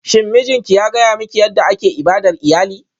Shin mijinki ya gaya miki yadda ake ibadar iyali?